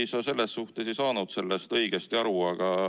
Ei, sa selles suhtes ei saanud sellest õigesti aru.